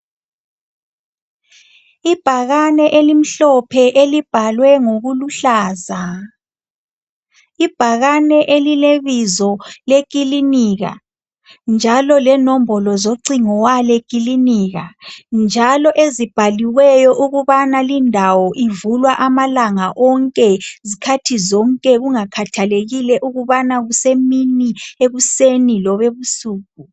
Ibhakane elimhlophe elibhalwe ngokuluhlaza. Ibhakane elilebizo lekilinika. Njalo lenombolo zocingo wale kilinika. Njalo ezibhaliweyo ukubana lindawo ivulwa amalanga onke, zikhathi zonke kungakhathelekile ukubana kusemini ekuseni lobebsuku.